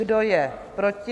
Kdo je proti?